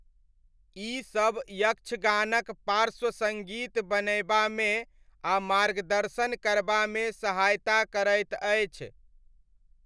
ई सब यक्षगानक पार्श्वसङ्गीत बनयबामे आ मार्गदर्शन करबामे सहायता करैत अछि।